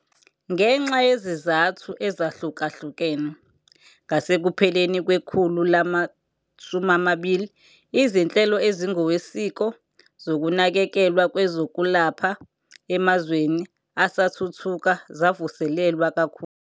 Ngenxa yezizathu ezahlukahlukene, ngasekupheleni kwekhulu lama-20 izinhlelo ezingokwesiko zokunakekelwa kwezokwelapha emazweni asathuthuka zavuselelwa kakhulu.